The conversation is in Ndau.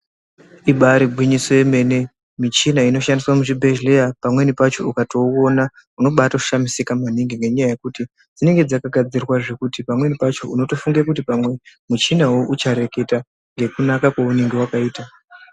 Ibari gwinyiso yemene michina inoshandiswa muzvibhedhleya pamweni pacho ukatouona unobatishamisika maningi ngenyaya yokuti dzinenge dzakagadzirwa zvekuti pamweni pacho unotofunge kuti muchina uyu uchareketa ngekunaka kwaunenge wakaita .